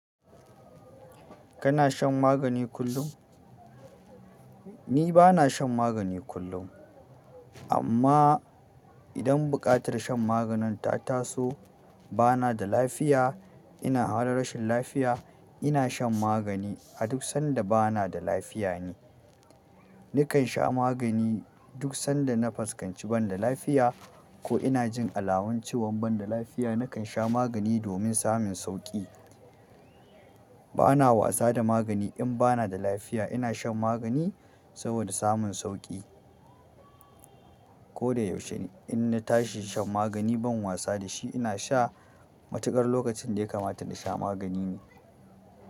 Kana shan magani kullum? Ni ba na shan magani kullum, amma idan buƙatar shan maganin ta taso, ba na da lafiya, ina halin rashin lafiya, ina shan magani a duk sanda ba na da lafiya ne. Nakan sha magani duk sanda na fuskanci ban da lafiya ko ina jin alamun cewan ban da lafiya, nakan sha magani domin samun sauƙi. Ba na wasa da magani in ba na da lafiya. Ina shan magani saboda samun sauƙi. Ko da yaushe inna tashi shan magani ban wasa da shi. Ina sha matuƙar lokacin da ya kamata na sha magani ne.